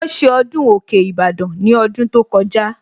Wọ́n ṣe ọdún òkè Ìbàdàn ní ọdún tó kọjá